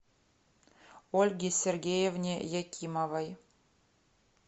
ольге сергеевне якимовой